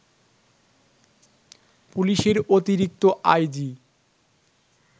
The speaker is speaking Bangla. পুলিশের অতিরিক্ত আইজি